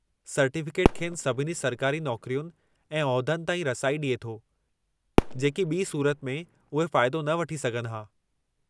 Certificate खेनि सभिनी सरकारी नौकरियुनि ऐं उहिदनि ताईं रसाई ॾिए थो, जेकी ॿी सूरत में उहे फ़ाइदो न वठी सघनि हा।